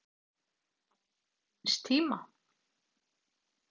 Barn síns tíma?